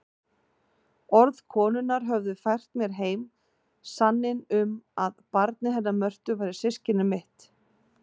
Orð konunnar höfðu fært mér heim sanninn um að barnið hennar Mörtu væri systkini mitt.